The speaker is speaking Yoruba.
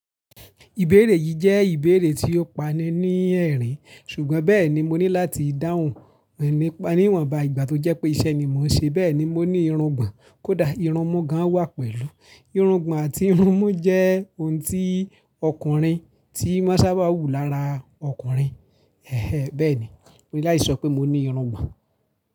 Ìbéèrè yìí jẹ́ ìbéèrè tí ó pani ní ẹ̀rín, ṣùgbọ́n bẹ́ẹ̀ ni mo ní láti dáhùn rẹ̀ nípa níwọ̀nba ìgbà tó jẹ́ pé iṣẹ́ ni mò ń ṣe. Bẹ́ẹ̀ ni mo ní irungbọ̀n kódà irunmu gan wà pẹ̀lú. Irungbọ̀n àti irunmu jẹ́ ohun tí ọkùnrin tí má sábà wù lára ọkùnrin. Ẹ̀hẹ̀ẹ́n, bẹ́ẹ̀ ni, mo ní láti sọ pé mo ní irungbọ̀n.